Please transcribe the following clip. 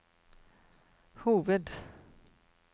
hoved